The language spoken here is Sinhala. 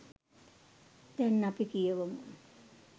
දැන් අපි කියවමු.